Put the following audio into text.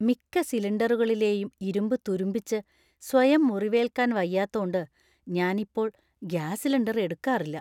മിക്ക സിലിണ്ടറുകളിലെയും ഇരുമ്പ് തുരുമ്പിച്ച് സ്വയം മുറിവേല്‍ക്കാന്‍ വയ്യത്തോണ്ട് ഞാൻ ഇപ്പോൾ ഗ്യാസ് സിലിണ്ടർ എടുക്കാറില്ല.